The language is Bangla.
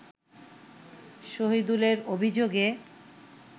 শহীদুলের অভিযোগে